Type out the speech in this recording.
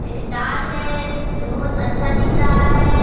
दाल है जो बहुत अच्छा दिख रहा है।